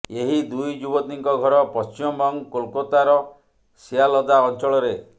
ଏହି ଦୁଇ ଯୁବତୀଙ୍କ ଘର ପଶ୍ଚିମବଙ୍ଗ କୋଲକାତାର ସିଆଲଦା ଅଞ୍ଚଳରେ